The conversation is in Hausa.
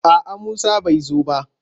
A'a Musa bai zo ba.